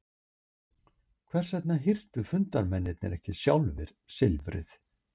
Hvers vegna hirtu fundarmennirnir ekki sjálfir silfrið?